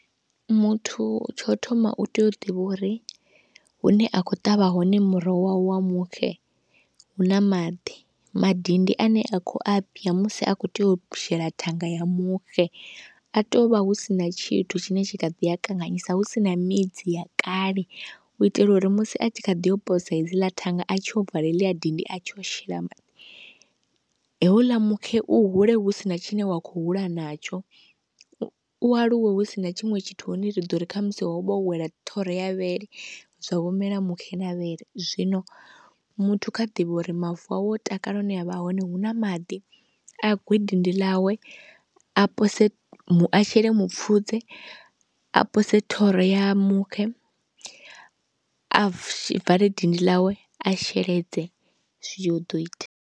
Muthu tsho thoma u tea u ḓivha uri hune a khou ṱavha hone muroho wawe wa muxe huna maḓi, madindi ane a kho a bya musi a khou tea u shela thanga ya muxe a tea u vha hu sina tshithu tshine tshi kha ḓi a kanganyisa, husina midzi ya kale u itela uri musi a tshi kha ḓi yo posa hedzila thanga, a tshi yo vala heḽiya dindi, a tshi yo shela, houḽa muxe u hule husina tshine wa khou hula natsho, u aluwe husina tshiṅwe tshithu hune ri ḓo ri khamusi ho vha ho wela thoro ya vhele zwa vho mela muxe mavhele, zwino muthu kha ḓivhe uri mavu awe takala hune a vha hone, huna maḓi, a gwe dindi ḽawe, a pose a shele mupfhudze, a posela thoro ya muxe, a vale dindi ḽawe, a sheledze zwi ḓo ita.